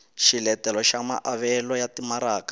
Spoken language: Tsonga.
xiletelo xa maavelo ya timaraka